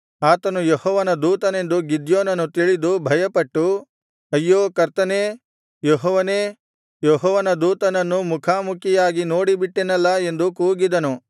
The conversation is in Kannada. ಆತನು ಯೆಹೋವನ ದೂತನೆಂದು ಗಿದ್ಯೋನನು ತಿಳಿದು ಭಯಪಟ್ಟು ಅಯ್ಯೋ ಕರ್ತನೇ ಯೆಹೋವನೇ ಯೆಹೋವನ ದೂತನನ್ನು ಮುಖಾಮುಖಿಯಾಗಿ ನೋಡಿಬಿಟ್ಟೆನಲ್ಲಾ ಎಂದು ಕೂಗಿದನು